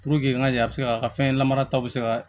Puruke an ka kɛ a bɛ se ka fɛn lamara ta bɛ se ka